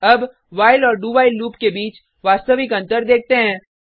अब व्हाइल और do while loop के बीच वास्तविक अंतर देखते हैं